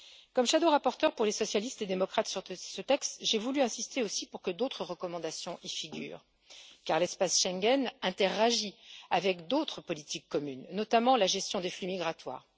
En tant que rapporteure fictive pour les socialistes et démocrates sur ce texte, j'ai voulu insister aussi pour que d'autres recommandations y figurent, car l'espace Schengen interagit avec d'autres politiques communes, notamment la gestion des flux migratoires.